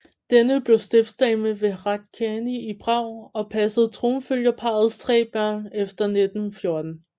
Denne blev stiftsdame ved Hradčany i Prag og passede tronfølgerparrets tre børn efter 1914